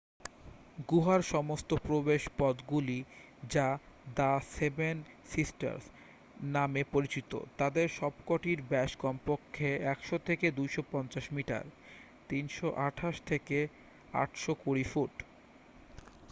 "গুহার সমস্ত প্রবেশপথগুলি যা "দ্য সেভেন সিস্টার্স" নামে পরিচিত তাদের সবকটির ব্যস কমপক্ষে 100 থেকে 250 মিটার 328 থেকে 820 ফুট।